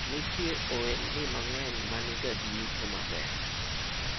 kuna biashara nyingi ambazo huwa na faida mzuri